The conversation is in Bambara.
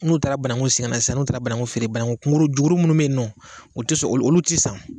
N'u taara bananku sen sisan n'u taara bananku feere bananku jukurun minnu bɛ yen nɔ o tɛ sɔn olu olu tɛ san